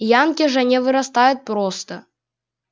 янки же не вырастают просто